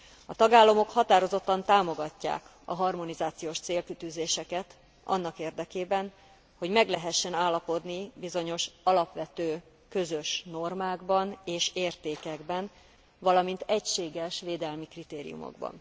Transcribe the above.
A tagállamok határozottan támogatják a harmonizációs célkitűzéseket annak érdekében, hogy meg lehessen állapodni bizonyos alapvető közös normákban és értékekben, valamint egységes védelmi kritériumokban.